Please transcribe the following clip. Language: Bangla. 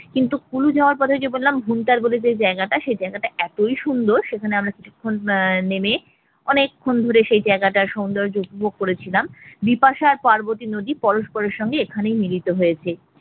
কিন্তু কুলু যাওয়ার পথে যে বললাম ভুন্টার বলে যে জায়গাটা সে জায়গাটা এতই সুন্দর সেখানে আমরা আহ আমরা নেমে অনেকক্ষণ সময় ধরে সেই জায়গাটার সৌন্দর্য উপভোগ করেছিলাম বিপাশা আর পার্বতী নদী পরস্পরের সাথে এখানে মিলিত হয়েছে ।